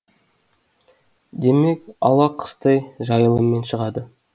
демек ала қыстай жайылыммен шығады